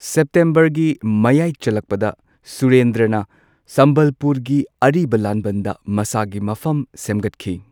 ꯁꯦꯞꯇꯦꯝꯕꯔꯒꯤ ꯃꯌꯥꯏ ꯆꯜꯂꯛꯄꯗ ꯁꯨꯔꯦꯟꯗ꯭ꯔꯅ ꯁꯝꯕꯜꯄꯨꯔꯒꯤ ꯑꯔꯤꯕ ꯂꯥꯟꯕꯟꯗ ꯃꯁꯥꯒꯤ ꯃꯐꯝ ꯁꯦꯝꯒꯠꯈꯤ꯫